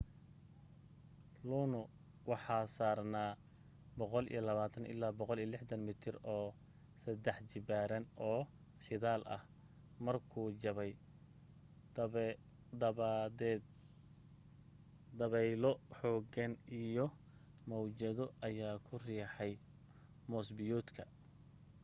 luno waxa saarnaa 120-160 mitir oo saddex jibaaran oo shidaal ah markuu jabay dabadeed dabaylo xooggan iyo mawjado ayaa ku riixay moos-biyoodka